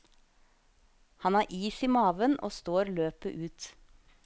Han har is i maven og står løpet ut.